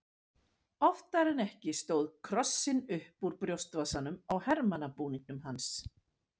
Oftar en ekki stóð krossinn upp úr brjóstvasanum á hermannabúningnum hans.